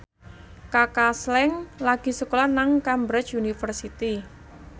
Kaka Slank lagi sekolah nang Cambridge University